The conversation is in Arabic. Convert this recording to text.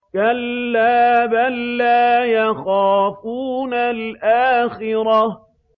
كَلَّا ۖ بَل لَّا يَخَافُونَ الْآخِرَةَ